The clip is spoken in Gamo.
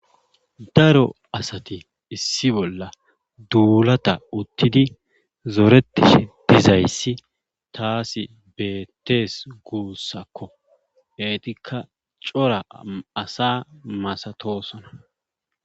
daro asati issi bolla duulata uttidi zoretishe dizayssi taasi beettees guussakko eetikka coraasa masatosona